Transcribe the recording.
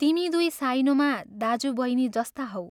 तिमी दुइ साइनोमा दाज्यू बैनी जस्ता हौ।